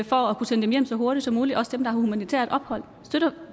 for at kunne sende dem hjem så hurtigt som muligt også dem der har humanitært ophold støtter